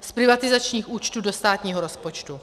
z privatizačních účtů do státního rozpočtu.